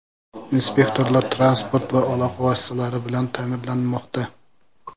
Inspektorlar transport va aloqa vositalari bilan ta’minlanmoqda.